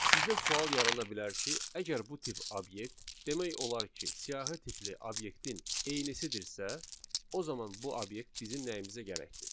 Sizdə sual yarana bilər ki, əgər bu tip obyekt demək olar ki, siyahı tipli obyektin eynisidirsə, o zaman bu obyekt bizim nəyimizə gərəkdir?